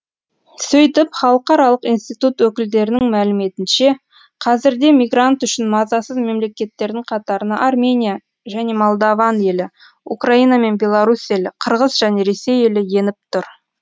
сөйтіп халықаралық институт өкілдерінің мәліметінше қазірде мигрант үшін мазасыз мемлекеттердің қатарына армения және молдаван елі украина мен беларус елі қырғыз және ресей елі еніп тұр